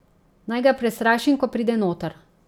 Naj ga prestrašim, ko pride noter?